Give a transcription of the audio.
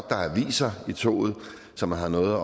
der er aviser i toget så man har noget